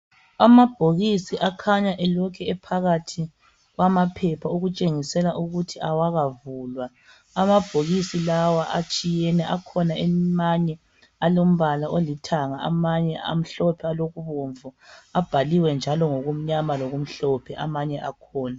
Amabhokisi akhanya elokhu ephakathi kwamaphepha okutshengisela ukuthi awakavulwa. Amabhokisi lawa atshiyene, akhona amanye alombala olithanga, amanye amhlophe alokubomvu, abhaliwe njalo ngokumnyama lokumhlophe amanye akhona.